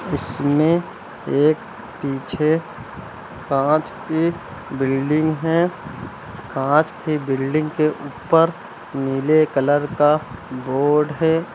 इसमें एक पीछे कांच की बिल्डिंग है कांच की बिल्डिंग के ऊपर नीले कलर का बोर्ड है।